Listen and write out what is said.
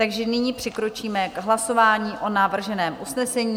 Takže nyní přikročíme k hlasování o navrženém usnesení.